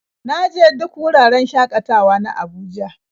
Na je duk wuraren shakatawa na Abuja.